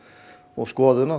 og skoðun